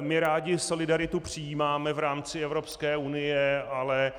My rádi solidaritu přijímáme v rámci Evropské unie, ale